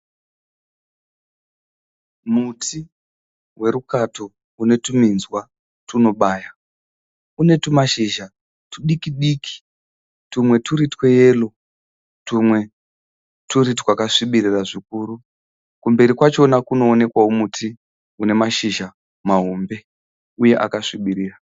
Muti werukato une tuminzwa tunobaya. Une tumashizha tudiki diki tumwe twuri tweyero twumwe twakasvibirira zvikuru. Kumberi kwachona kunoonekwawo muti une mashizha mahombe uye akasvibirira